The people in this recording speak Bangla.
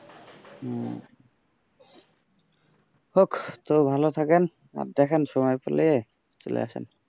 হোক তো ভালো থাকেন আর দেখান যে সময় পেলে চলে আসেন।